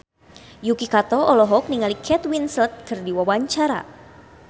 Yuki Kato olohok ningali Kate Winslet keur diwawancara